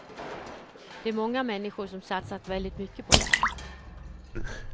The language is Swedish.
Det är många människor som satsat väldigt mycket på det här.